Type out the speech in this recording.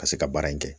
Ka se ka baara in kɛ